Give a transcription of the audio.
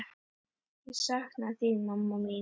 Ég sakna þín, mamma mín.